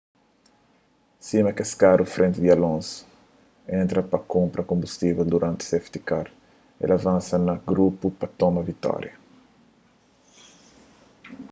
sima kes karu frenti di alonso entra pa kunpra konbustível duranti safety car el avansa na grupu pa toma vitória